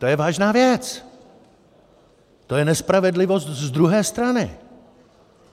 To je vážná věc, to je nespravedlivost z druhé strany.